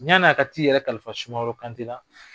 Yann'a ka t'i yɛrɛ kalifa Sumaworo Kante la,